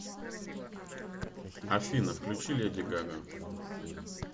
афина включи леди гага